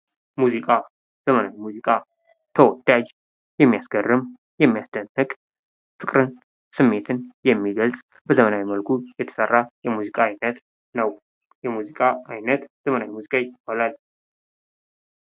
ሙዚቃ፦ ዘመናዊ ሙዚቃ፦ ተወዳጅ፣ የሚያስገርም፣ ፍቅርን ስሜትን የሚገልጽ በዘመናዊ መልኩ የተሰራ የሙዚቃ አይነት ነው።